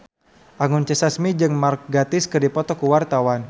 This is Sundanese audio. Anggun C. Sasmi jeung Mark Gatiss keur dipoto ku wartawan